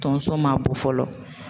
Tonso ma bɔ fɔlɔ